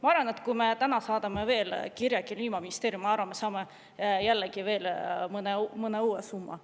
Ma arvan, et kui me täna saadaksime kirja Kliimaministeeriumile, siis me saaksime jällegi mõne uue summa.